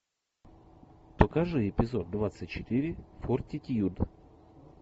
покажи эпизод двадцать четыре фортитьюд